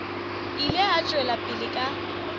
ile a tšwela pele ka